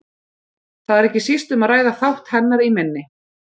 Þar er ekki síst um að ræða þátt hennar í minni.